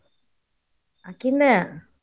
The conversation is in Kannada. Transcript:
ಆಕಿಂದ್.